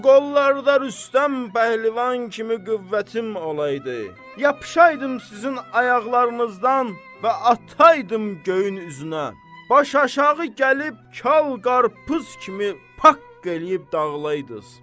Bu qollarda Rüstəm pəhlivan kimi qüvvətim olaydı, yapışaydım sizin ayaqlarınızdan və ataydım göyün üzünə, baş aşağı gəlib kal qarpız kimi paqq eləyib dağılaydız.